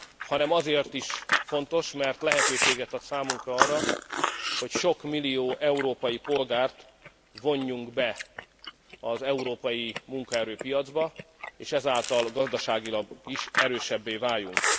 hanem azért is fontos, mert lehetőséget ad számunkra arra, hogy sok millió európai polgárt vonjunk be az európai munkaerőpiacba, és ezáltal gazdaságilag is erősebbé váljunk.